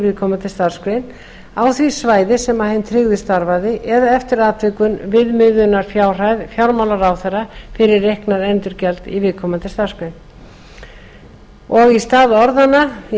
viðkomandi starfsgrein á því svæði sem hinn tryggði starfaði eða eftir atvikum viðmiðunarfjárhæð fjármálaráðherra fyrir reiknað endurgjald í viðkomandi starfsgrein og í stað orðanna